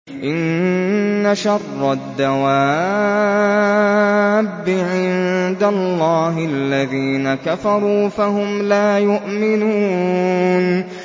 إِنَّ شَرَّ الدَّوَابِّ عِندَ اللَّهِ الَّذِينَ كَفَرُوا فَهُمْ لَا يُؤْمِنُونَ